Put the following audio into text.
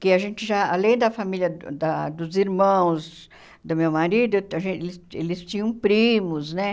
Que a gente já, além da família da dos irmãos do meu marido, a gen eles eles tinham primos, né?